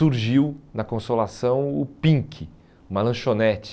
Surgiu na Consolação o Pink, uma lanchonete.